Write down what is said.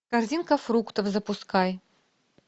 корзинка фруктов запускай